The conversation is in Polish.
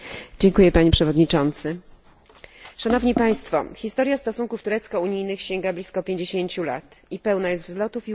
Historia stosunków turecko unijnych sięga blisko pięćdziesięciu lat i pełna jest wzlotów i upadków, chwil bliskiej współpracy i momentów jej załamania.